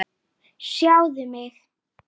Hvað er þetta maður?